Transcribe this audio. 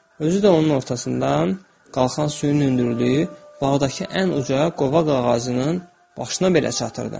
Özü də onun ortasından qalxan suyun hündürlüyü bağdakı ən uca qovaq ağacının başına belə çatırdı.